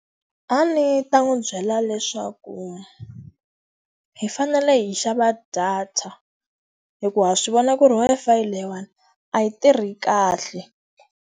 A ndzi ta n'wi byela leswaku, hi fanele hi xava data. Hikuva ha swi vona ku ri Wi-Fi leyiwani a yi tirhi kahle.